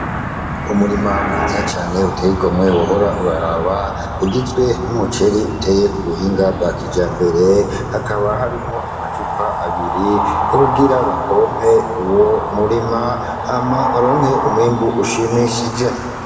Umurima mwiza cane uteye igomwe, wohora uraraba. Ugizwe n'umuceri uteye ku buhinga bwa kijambere, hakaba harimwo amacupa abiri yo kugira bapompe uwo murima hama baronke umwimbu ushimishije.